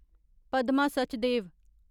Padma Sachdev